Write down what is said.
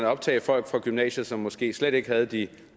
optage folk fra gymnasiet som måske slet ikke havde de